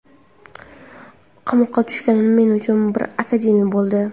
Qamoqqa tushganim men uchun bir akademiya bo‘ldi.